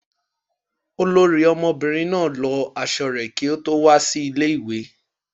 Olori omobirin na lò aṣọ re ki o to wa si ile-iwe